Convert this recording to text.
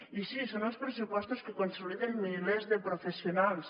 i sí són els pressupostos que consoliden milers de professionals